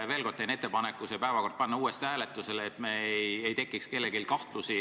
Veel kord, teen ettepaneku panna see päevakord uuesti hääletusele, et kellelgi ei tekiks kahtlusi.